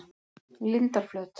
Lindarflöt